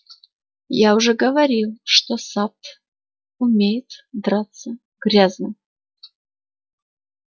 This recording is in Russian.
я уже говорил что сатт умеет драться грязно